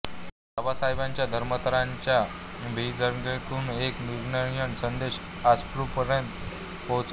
बाबासाहेबांच्या धर्मांतराच्या भीमगर्जनेतून एक निर्णायक संदेश अस्पृश्यांपर्यंत पोहचला